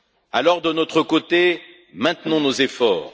Alors, de notre côté, maintenons nos efforts.